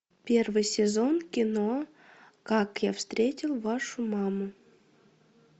первый сезон кино как я встретил вашу маму